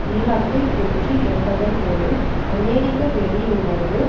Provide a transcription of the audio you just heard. ஈராக்கில் வெற்றி என்பதன் பொருள் அமெரிக்க வெளியுணர்வு